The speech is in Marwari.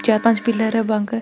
चार पांच पिलर है बके --